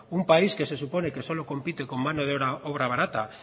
un país que se supone que solo compite con mano de obra barata